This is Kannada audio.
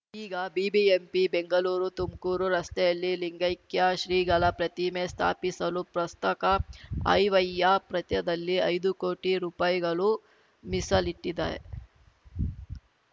ಈಗ ಬಿಬಿಎಂಪಿ ಬೆಂಗಳೂರುತುಮ್ಕೂರು ರಸ್ತೆಯಲ್ಲಿ ಲಿಂಗೈಕ್ಯ ಶ್ರೀಗಳ ಪ್ರತಿಮೆ ಸ್ಥಾಪಿಸಲು ಪ್ರಸ್ತಕ ಆಯ್ ವ್ವಯ್ಯ ಪ್ರತ್ಯದಲ್ಲಿ ಐದು ಕೋಟಿ ರುಪಾಯಿಗಳು ಮೀಸಲಿಟ್ಟಿದೆ